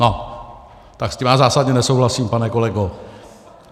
No tak s tím já zásadně nesouhlasím, pane kolego!